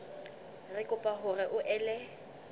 re kopa hore o ele